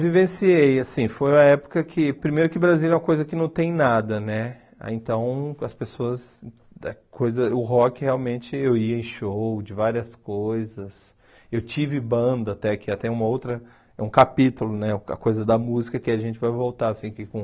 vivenciei, assim, foi a época que, primeiro que o Brasil é uma coisa que não tem nada, né, então as pessoas, coisa o rock realmente, eu ia em show de várias coisas, eu tive banda até, que até uma outra, é um capítulo, né, a coisa da música, que a gente vai voltar, assim, que com...